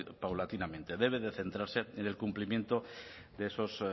paulatinamente debe de centrarse en el cumplimiento de esos